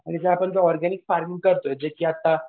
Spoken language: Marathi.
म्हणजे जे आपण ऑरगॅनिक फार्म करतोय जे आता